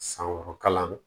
San wɔɔrɔ kalan